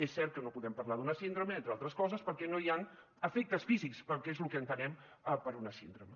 és cert que no podem parlar d’una síndrome entre altres coses perquè no hi ha efectes físics perquè és el que entenem per una síndrome